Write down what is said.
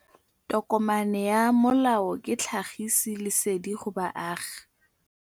Tokomane ya molao ke tlhagisi lesedi go baagi.